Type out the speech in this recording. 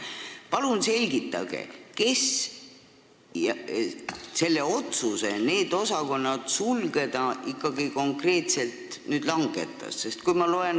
Palun selgitage, kes selle otsuse need osakonnad sulgeda ikkagi konkreetselt langetas!